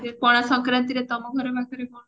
ପଣା ସଂକ୍ରାନ୍ତି ରେ ତମ ଘର ପାଖରେ କଣ